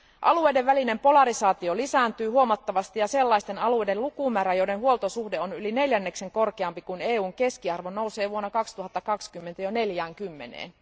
Alueiden välinen polarisaatio lisääntyy huomattavasti ja sellaisten alueiden lukumäärä, joiden huoltosuhde on yli neljänneksen korkeampi kuin EUn keskiarvo, nousee vuonna 2020 jo 40ään.